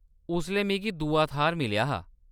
उसलै मिगी दूआ थाह्‌‌‌र मिलेआ हा।